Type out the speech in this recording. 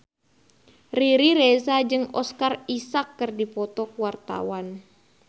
Riri Reza jeung Oscar Isaac keur dipoto ku wartawan